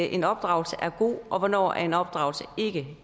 en opdragelse er god og hvornår er en opdragelse ikke